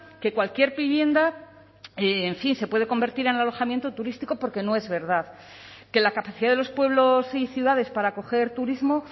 que cualquier vivienda en fin se puede convertir en alojamiento turístico porque no es verdad que la capacidad de los pueblos y ciudades para acoger turismo